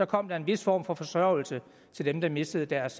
kom der en vis form for forsørgelse til dem der mistede deres